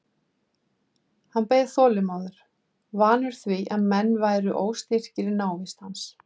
Hann beið þolinmóður, vanur því að menn væru óstyrkir í návist hans.